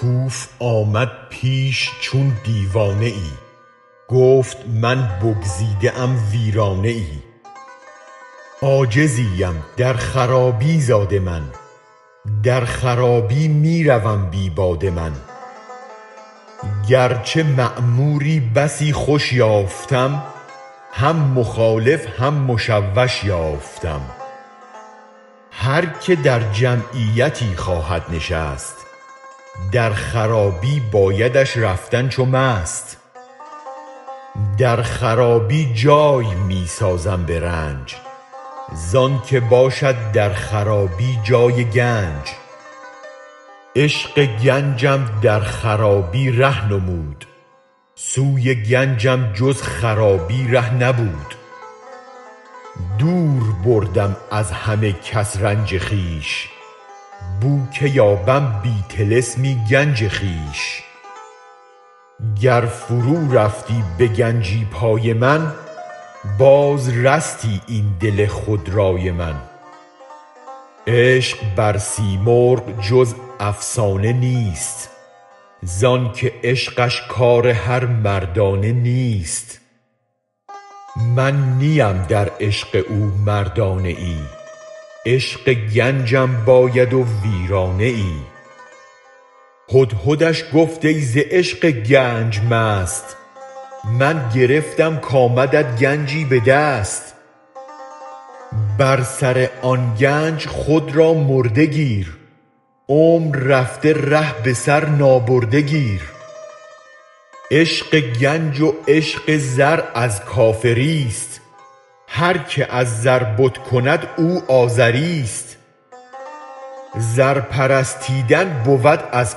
کوف آمد پیش چون دیوانه ای گفت من بگزیده ام ویرانه ای عاجزی ام در خرابی زاده من در خرابی می روم بی باده من گر چه معموری بسی خوش یافتم هم مخالف هم مشوش یافتم هرک در جمعیتی خواهد نشست در خرابی بایدش رفتن چو مست در خرابی جای می سازم به رنج زآنک باشد در خرابی جای گنج عشق گنجم در خرابی ره نمود سوی گنجم جز خرابی ره نبود دور بردم از همه کس رنج خویش بوک یابم بی طلسمی گنج خویش گر فرو رفتی به گنجی پای من باز رستی این دل خودرأی من عشق بر سیمرغ جز افسانه نیست زآنک عشقش کار هر مردانه نیست من نیم در عشق او مردانه ای عشق گنجم باید و ویرانه ای هدهدش گفت ای ز عشق گنج مست من گرفتم کآمدت گنجی به دست بر سر آن گنج خود را مرده گیر عمر رفته ره به سر نابرده گیر عشق گنج و عشق زر از کافری ست هرک از زر بت کند او آزری ست زر پرستیدن بود از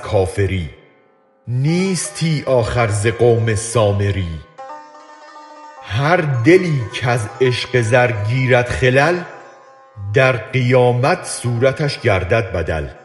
کافری نیستی آخر ز قوم سامری هر دلی کز عشق زر گیرد خلل در قیامت صورتش گردد بدل